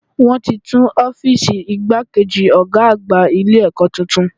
Wọ́n ti tún Ófììsì igbákejì Ọ̀gá àgbà Ilé ẹ̀kọ́ tuntun